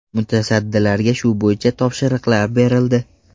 Mutasaddilarga shu bo‘yicha topshiriqlar berildi.